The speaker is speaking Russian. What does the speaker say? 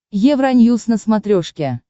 евроньюс на смотрешке